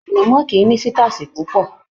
Anamọ kìí ní sitasi púpọ.